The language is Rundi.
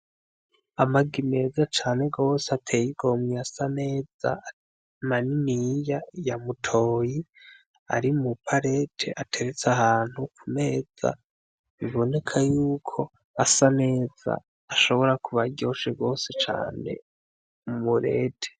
Amagi meza cane gose ateye igomwe asa neza maniniya ya mutoyi ari mu parete , ateretse ahantu ku meza biboneka yuko Awa neza ashobora kuba aryoshe gose cane mu murete.